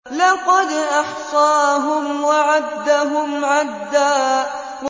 لَّقَدْ أَحْصَاهُمْ وَعَدَّهُمْ عَدًّا